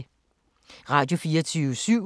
Radio24syv